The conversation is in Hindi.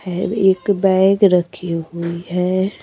हैब एक बैग रखी हुई है।